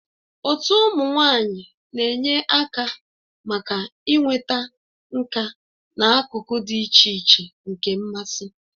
Otu ụmụ nwanyị na-enye aka maka inweta nka n'akụkụ dị iche iche nke mmasị.